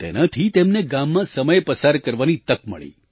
તેનાથી તેમને ગામમાં સમય પસાર કરવાની તક મળી